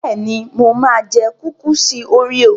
Bẹ́ẹ̀ni, mo máa jẹ kúkúùsì óríò.